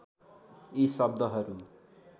यी शब्दहरू